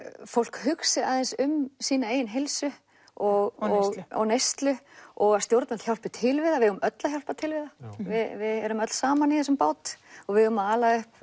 fólk hugsi aðeins um sína eigin heilsu og neyslu og að stjórnvöld hjálpi til við það við eigum öll að hjálpa til við það við erum öll saman í þessum bát og við eigum að ala upp